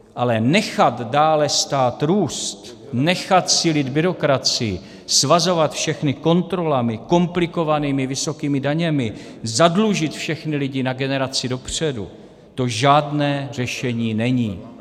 Ale nechat dále stát růst, nechat sílit byrokracii, svazovat všechny kontrolami, komplikovanými vysokými daněmi, zadlužit všechny lidi na generaci dopředu, to žádné řešení není.